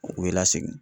U bɛ lasegin